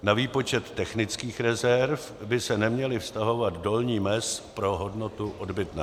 Na výpočet technických rezerv by se neměla vztahovat dolní mez pro hodnotu odbytného.